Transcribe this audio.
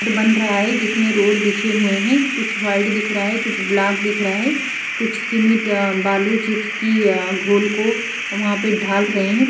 बन रहा है जिसमें रोड बिछे हुए है कुछ वाइट दिख रहा है कुछ ब्लॉक दिख रहा है कुछ सीमेंट बालू चिप्स की गोल को वहाँ पर ढ़ाल रहे है।